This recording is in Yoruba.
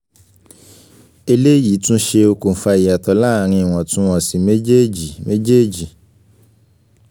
eleyi tún ṣé okùnfà ìyàtọ̀ láàárín iwọntún-wọnsì méjèèjì méjèèjì